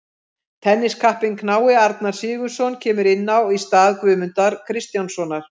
Tenniskappinn knái Arnar Sigurðsson kemur inn á í stað Guðmundar Kristjánssonar.